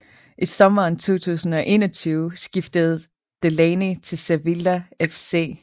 I sommeren 2021 skiftede Delaney til Sevilla FC